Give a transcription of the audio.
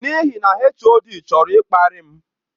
N'ihi na HOD chọrọ ịkparị m.